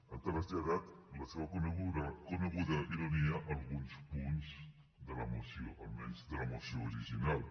ha traslladat la seva coneguda ironia a alguns punts de la moció almenys de la moció original